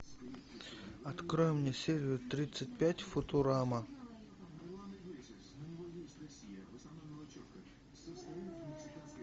открой мне серию тридцать пять футурама